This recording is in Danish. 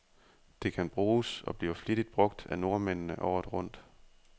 Det kan bruges, og bliver flittigt brug af nordmændene, året rundt.